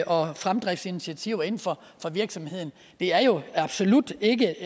og fremdriftsinitiativer inden for virksomheden det er jo absolut ikke